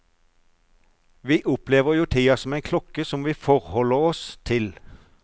Vi opplever jo tida som en klokke som vi forholder oss til.